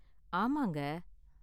ஆமாங்க